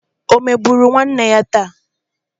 Ọ emegburu nwanne ya taa?